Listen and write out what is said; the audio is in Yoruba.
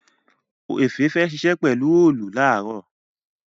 Efe fè ṣiṣẹ pelu Òòlù laaro.